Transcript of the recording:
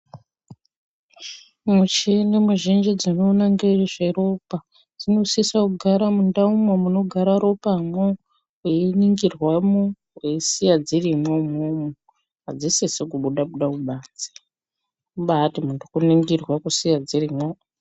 Muchini muzhinji dzinoona ngezveropa, dzinosisa kugaramwo mundaumwo munogara ropamwo, weiningirwamwo, weisiya dzirimwo, umwomwo. Adzisisi kubuda-buda kubanze. Kubaati muntu kuningirwa kusiya dzirimwo.